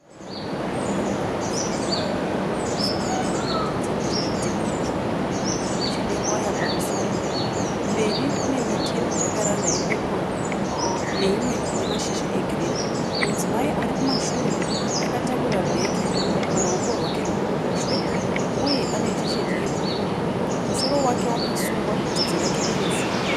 Vanhu varikufamba mudhuze nemuchidziro che zvidhinha zvitsvuku, chine waya pamusoro mberi kune miti yemijakaranda ye peporo neimwe ine mashizha e girini. Mudzimai ari kumashure akatakura bheke paruoko rwake rwekuruboshwe uye ane tisheti ye bhuruu musoro wake wakasungwa bvudzi rake irefu.